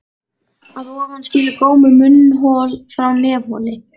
Að ofan skilur gómur munnhol frá nefholi.